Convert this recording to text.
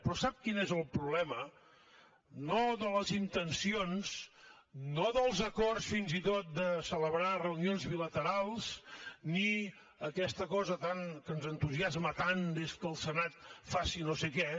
però sap quin és el problema no de les intencions no dels acords fins i tot de celebrar reunions bilaterals ni aquesta cosa que ens entusiasma tant que el senat faci no sé què